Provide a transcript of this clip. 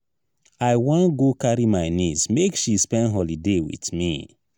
i wan go carry my neice make she spend holiday wit me.